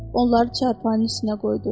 Onları çarpayının üstünə qoydu.